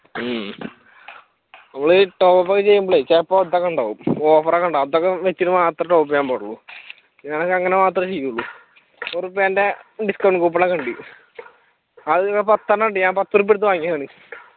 ഉം നമ്മൾ top up ഒക്കെ ചെയ്യുമ്പോളേ ചിലപ്പോ ഒരുത്തൻ കണ്ടോ offer ഒക്കെ ഉണ്ടാവും അതൊക്കെ വെച്ച് മാത്രേ top up ചെയ്യാൻ പാടുള്ളൂ ഞാനൊക്കെ അങ്ങനെ മാത്രേ ചെയ്യുള്ളു നൂറ് ഉറുപ്പിയെന്റെ discount coupon ഒക്കെ ഉണ്ട് അത് പത്തെണ്ണം ഉണ്ട് ഞാൻ പത്ത് ഉറുപ്പിയ കൊടുത്ത് വാങ്ങിയതാണ്.